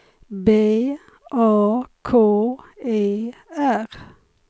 B A K E R